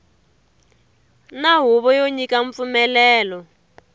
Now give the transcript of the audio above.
na huvo yo nyika mpfumelelo